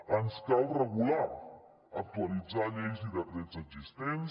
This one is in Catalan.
ens cal regular actualitzar lleis i decrets existents